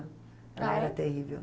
Ela era terrível.